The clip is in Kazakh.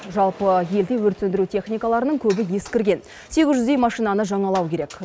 жалпы елде өрт сөндіру техникаларының көбі ескірген сегіз жүздей машинаны жаңалау керек